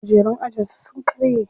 Kujerun ajin su sun karye.